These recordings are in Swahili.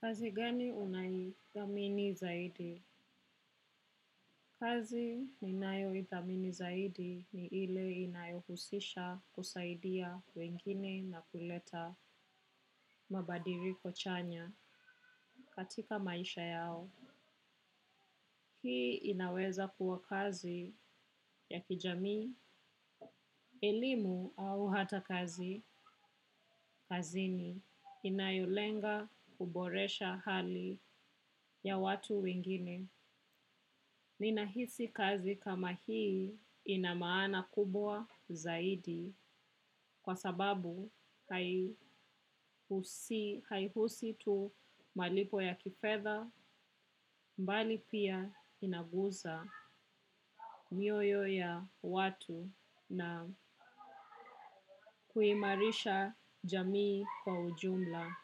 Kazi gani unayoithamini zaidi? Kazi ninayoithamini zaidi ni ile inayohusisha kusaidia wengine na kuleta mabadiliko chanya katika maisha yao. Hii inaweza kuwa kazi ya kijamii, elimu au hata kazi kazini inayolenga kuboresha hali ya watu wengine. Ninahisi kazi kama hii ina maana kubwa zaidi kwa sababu haihusu tu malipo ya kifedha bali pia inaguza mioyo ya watu na kuimarisha jamii kwa ujumla.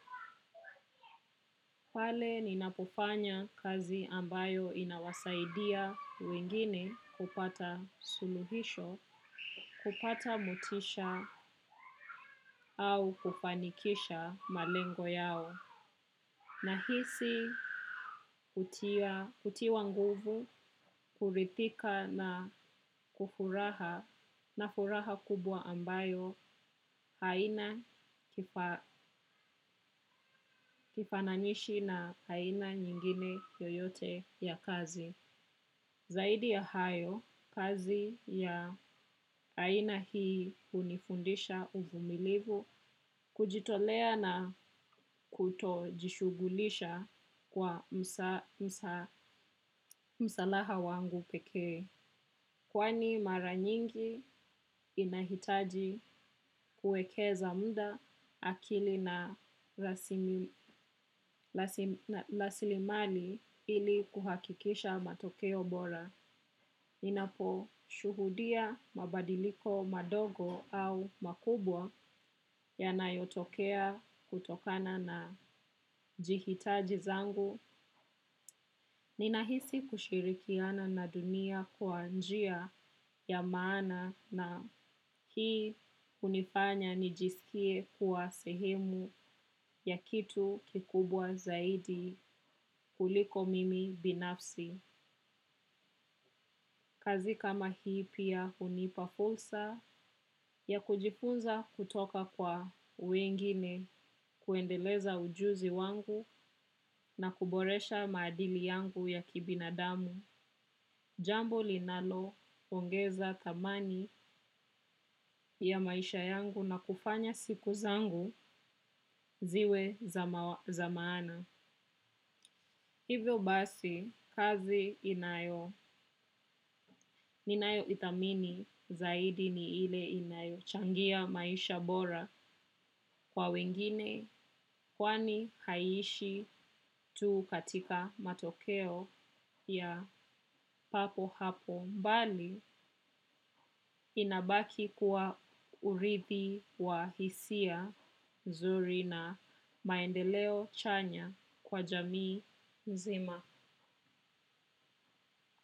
Pale ninapofanya kazi ambayo inawasaidia wengine kupata suluhisho, kupata motisha au kufanikisha malengo yao. Nahisi kutiwa nguvu kurithika na kufuraha na furaha kubwa ambayo haina kifananishi na haina nyingine yoyote ya kazi. Zaidi ya hayo, kazi ya aina hii hunifundisha uvumilivu, kujitolea na kutojishughulisha kwa msalaha wangu pekee. Kwani mara nyingi inahitaji kuekeza muda akili na rasilimani ili kuhakikisha matokeo bora. Ninaposhuhudia mabadiliko madogo au makubwa yanayotokea kutokana na jihitaji zangu. Ninahisi kushirikiana na dunia kwa njia ya maana na hii hunifanya nijisikie kuwa sehemu ya kitu kikubwa zaidi kuliko mimi binafsi. Kazi kama hii pia hunipa fursa ya kujifunza kutoka kwa wengine kuendeleza ujuzi wangu na kuboresha maadili yangu ya kibinadamu. Jambo linaloongeza thamani ya maisha yangu na kufanya siku zangu ziwe za maana. Hivyo basi, kazi inayo, ninayoithamini zaidi ni ile inayochangia maisha bora kwa wengine kwani haiishi tu katika matokeo ya papo hapo bali inabaki kuwa urithi wa hisia nzuri na maendeleo chanya kwa jamii nzima.